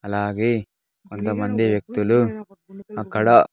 అలాగే కొంతమంది వ్యక్తులు అక్కడ.